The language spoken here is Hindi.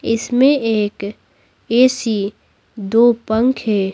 इसमें एक ए_सी दो पंखे --